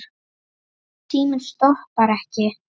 Síminn stoppar ekki.